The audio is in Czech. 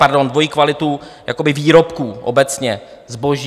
Pardon, dvojí kvalitu výrobků obecně, zboží.